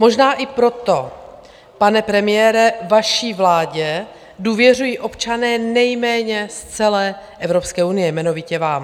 Možná i proto, pane premiére, vaší vládě důvěřují občané nejméně z celé Evropské unie, jmenovitě vám.